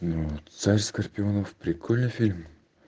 вот царь скорпионов прикольный фильм